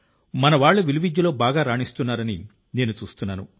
మనవాళ్లు విలువిద్యలో బాగా రాణిస్తున్నారని నేను చూస్తున్నాను